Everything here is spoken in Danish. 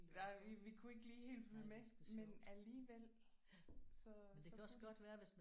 Nej vi vi kunne ikke lige helt følge med men alligevel så så kunne de